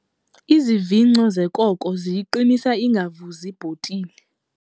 Izivingco zekoko ziyiqinisa ingavuzi ibhotile.